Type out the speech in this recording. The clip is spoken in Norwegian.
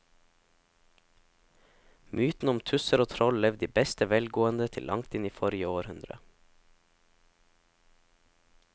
Mytene om tusser og troll levde i beste velgående til langt inn i forrige århundre.